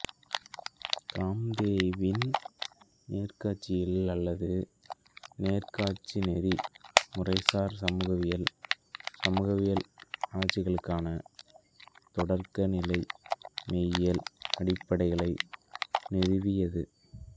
காம்தேவின் நேர்காட்சியியல் அல்லது நேர்காட்சிநெறி முறைசார் சமூகவியல் சமூகவியல் ஆராய்ச்சிக்கான தொடக்கநிலை மெய்யியல் அடிப்படைகளை நிறுவியது